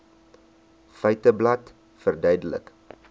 feiteblad verduidelik